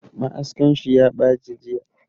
Ma'askan shi ya baci jiya